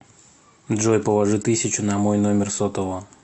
джой положи тысячу на мой номер сотового